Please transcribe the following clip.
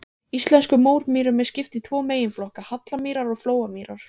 Íslenskum mómýrum er skipt í tvo meginflokka, hallamýrar og flóamýrar.